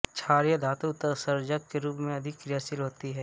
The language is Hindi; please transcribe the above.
क्षारीय धातु उत्सर्जक के रूप में अधिक क्रियाशील होती है